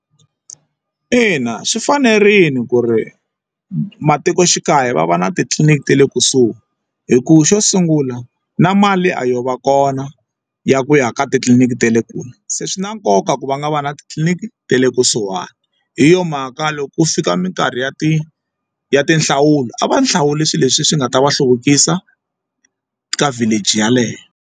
Ina swi fanerile ku ri matikoxikaya va va na titliliniki ta le kusuhi hikuva xo sungula na mali a yo va kona ya ku ya ka titliliniki ta le kule se swi na nkoka ku va nga va na titliliniki ta le kusuhani hi yo mhaka loko ku fika minkarhi ya ti ya ti nhlawulo a va hlawuli swilo leswi swi nga ta va hluvukisa ka village yaleyo.